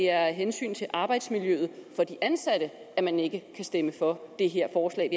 af hensyn til arbejdsmiljøet for de ansatte at man ikke kan stemme for det her forslag